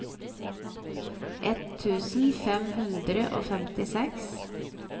ett tusen fem hundre og femtiseks